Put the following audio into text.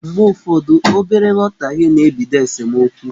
Mgbe ụfọdụ, obere nghọtahie na-ebido esemeokwu.